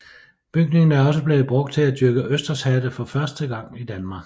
Bygningen er også blevet brugt til at dyrke østershatte for første gang i Danmark